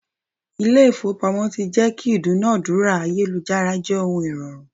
Ilé ifowopamo tí jẹ́ kí ìdúnadúrà ayélujára jẹ́ ohun ìrọ̀rùn.